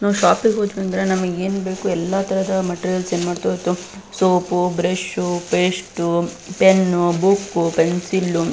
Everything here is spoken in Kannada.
ನಾವು ಶೋಪ್ಗೆ ಹೋದ್ವಿ ಅಂದ್ರ ನಮಿಗ್ ಏನ್ ಬೇಕು ಎಲ್ಲ ತರಹದ ಮೆಟೀರಿಯಲ್ಸ್ ಏನ್ ಮಾಡ್ತವು soap brush paste pen book pencil .